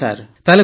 ହଁ ସାର୍ ହଁ ସାର୍